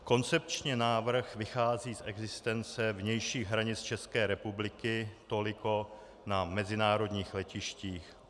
Koncepčně návrh vychází z existence vnějších hranic České republiky toliko na mezinárodních letištích.